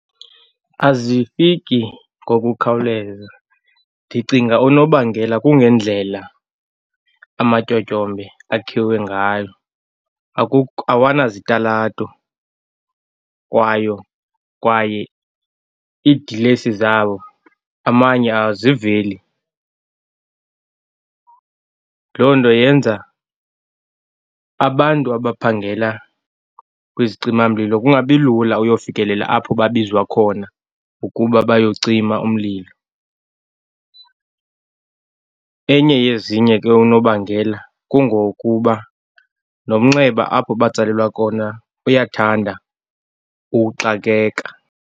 Azifiki ngokukhawuleza. Ndicinga unobangela kungendlela amatyotyombe akhiwe ngayo. Awanazitalato kwayo, kwaye iidilesi zabo amanye aziveli. Loo nto yenza abantu abaphangela kwizicimamlilo kungabi lula uyofikelela apho babizwa khona ukuba bayocima umlilo. Enye yezinye ke unobangela kungokuba nomnxeba apho batsalelwa kona uyathanda ukuxakeka.